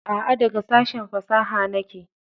A'q, daga sashen fasaha nake.